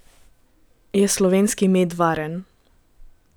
Je slovenski med varen?